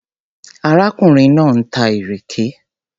Arákùnrin náà ń ta ìrèké.